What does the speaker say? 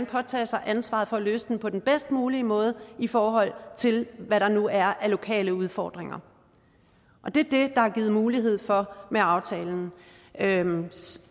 påtage sig ansvaret for at løse på den bedst mulig måde i forhold til hvad der nu er af lokale udfordringer det er det er givet mulighed for med aftalen